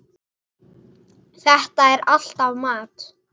Þetta er alltaf mat.